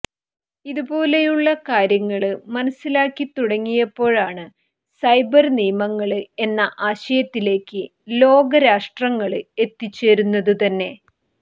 ഇതുപോലെയുള്ള കാര്യങ്ങള് മനസിലാക്കി തുടങ്ങിയപ്പോഴാണ് സൈബര് നിയമങ്ങള് എന്ന ആശയത്തിലേക്ക് ലോകരാഷ്ട്രങ്ങള് എത്തിച്ചേരുന്നതുതന്നെ